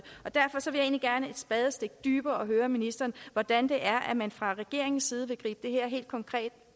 spadestik dybere og høre ministeren hvordan man fra regeringens side helt konkret